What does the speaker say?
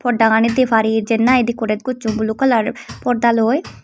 porda gani deparor jiyen nahi decorate gojon blue color porda loi.